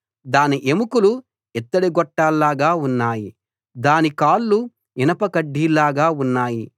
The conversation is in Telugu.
దాని ఎముకలు ఇత్తడి గొట్టాల్లాగా ఉన్నాయి దాని కాళ్ళు ఇనప కడ్డీల్లాగా ఉన్నాయి